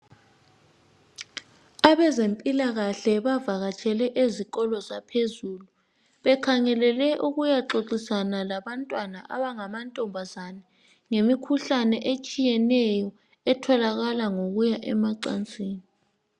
abezempilakahle bavakatshele ezikolo zaphezulu bekhangelele ukuyaxoxisana labantwana abangama ntombazane ngemikhuhlane etshiyeneyo etholakala ngokuya emacansini